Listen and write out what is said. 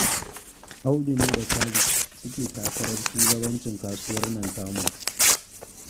Audu ne da Khalid suke takarar shugabancin kasuwar nan tamu